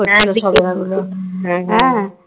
বিক্রি করছিল হ্যাঁ হ্যাঁ